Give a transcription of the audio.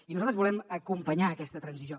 i nosaltres volem acompanyar aquesta transició